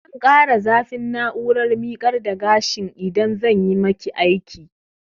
Zan ƙara zafin na'urar miƙar da gashin idan zanyi maki aiki